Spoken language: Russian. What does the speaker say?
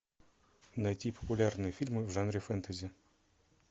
найти популярные фильмы в жанре фэнтези